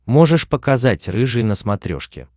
можешь показать рыжий на смотрешке